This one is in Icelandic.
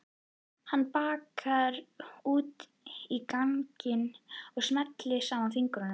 Hann bakkar út á ganginn og smellir saman fingrunum.